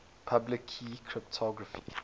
public key cryptography